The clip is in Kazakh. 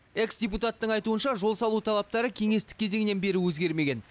экс депутаттың айтуынша жол салу талаптары кеңестік кезеңнен бері өзгермеген